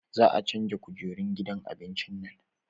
Za a canja kujerun gidan abincin nan